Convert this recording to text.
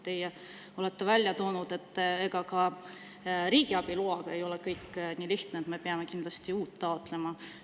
Teie olete välja toonud, et ega ka riigiabi loaga ei ole kõik nii lihtne, me peame kindlasti uut taotlema.